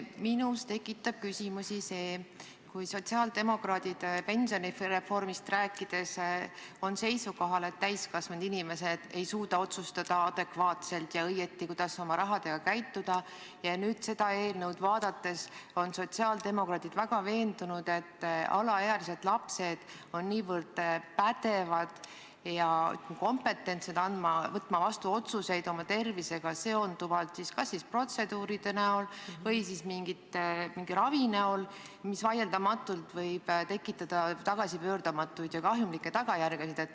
Minus tekitab küsimusi see, kui sotsiaaldemokraadid pensionireformist rääkides on seisukohal, et täiskasvanud inimesed ei suuda otsustada adekvaatselt ja õigesti, kuidas oma rahaga ümber käia, aga nüüd, kui seda eelnõu vaadata, on sotsiaaldemokraadid vägagi veendunud, et alaealised, lapsed on niivõrd pädevad võtma vastu oma tervist puudutavaid otsuseid kas protseduuride või mingi ravi osas, mis võib vaieldamatult kaasa tuua pöördumatuid ja kahjulikke tagajärgi.